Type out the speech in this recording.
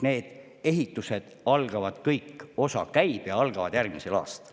Need ehitused kõik algavad – osa juba käib – järgmisel aastal.